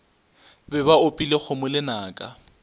be ba opile kgomo lenaka